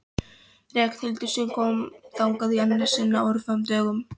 Ragnhildar sem kom þangað í annað sinn á örfáum dögum.